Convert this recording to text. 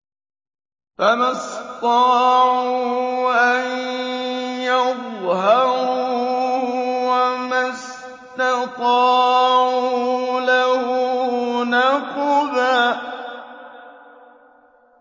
فَمَا اسْطَاعُوا أَن يَظْهَرُوهُ وَمَا اسْتَطَاعُوا لَهُ نَقْبًا